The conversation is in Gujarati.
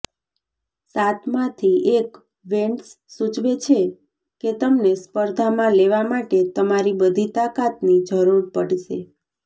સાતમાંથી એક વેન્ડ્સ સૂચવે છે કે તમને સ્પર્ધામાં લેવા માટે તમારી બધી તાકાતની જરૂર પડશે